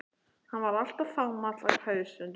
Hann var alltaf fámáll á kveðjustundum.